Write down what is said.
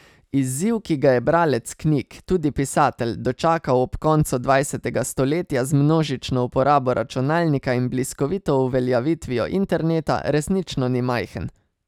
Izziv, ki ga je bralec knjig, tudi pisatelj, dočakal ob koncu dvajsetega stoletja z množično uporabo računalnika in bliskovito uveljavitvijo interneta, resnično ni majhen.